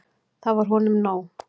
Það var honum nóg.